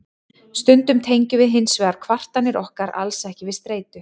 stundum tengjum við hins vegar kvartanir okkar alls ekki við streitu